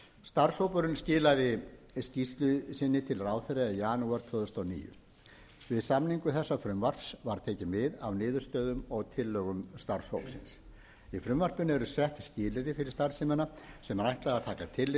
starfshópurinn skilaði skýrslu sinni til ráðherra í janúar tvö þúsund og níu við samningu þessa frumvarps var tekið mið af niðurstöðum og tillögum starfshópsins í frumvarpinu eru sett skilyrði fyrir starfseminni sem er ætlað að taka tillit